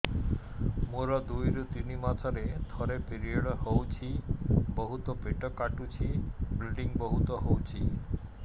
ମୋର ଦୁଇରୁ ତିନି ମାସରେ ଥରେ ପିରିଅଡ଼ ହଉଛି ବହୁତ ପେଟ କାଟୁଛି ବ୍ଲିଡ଼ିଙ୍ଗ ବହୁତ ହଉଛି